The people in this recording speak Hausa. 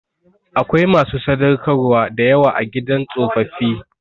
Akwai masu sadaukarwa da yawa a gidan tsofaffi.